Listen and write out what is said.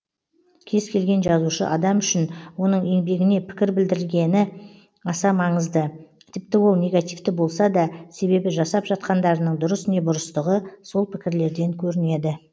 кез келген жазушы адам үшін оның еңбегіне пікір білдірілгені аса маңызды тіпті ол негативті болса да себебі жасап жатқандарының дұрыс не бұрыстығы сол пікірлерден көрінеді